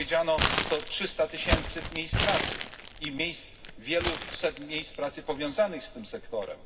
Jak powiedziano, to 300 tysięcy miejsc pracy i wieleset miejsc pracy powiązanych z tym sektorem.